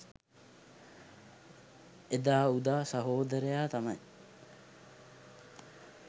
එදා උදා සහෝදරයා තමයි